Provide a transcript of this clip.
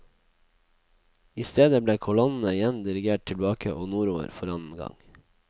I stedet ble kolonnene igjen dirigert tilbake og nordover for annen gang.